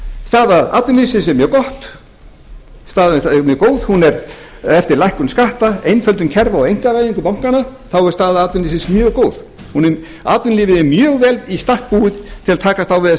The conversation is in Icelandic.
tvö þúsund og sjö staða atvinnulífsins er mjög góð hún er eftir lækkun skatta einföldun kerfa og einkavæðingu bankanna þá er staða atvinnulífsins mjög góð atvinnulífið er mjög vel í stakk búið til að takast á við þessa